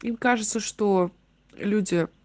им кажется что люди